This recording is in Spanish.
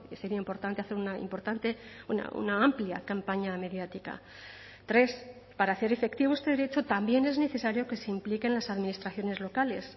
sería importante hacer una importante una amplia campaña mediática tres para hacer efectivo este derecho también es necesario que se impliquen las administraciones locales